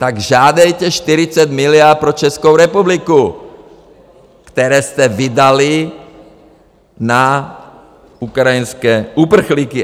Tak žádejte 40 miliard pro Českou republiku, které jste vydali na ukrajinské uprchlíky!